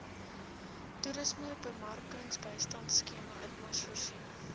toerismebemarkingbystandskema itmas voorsien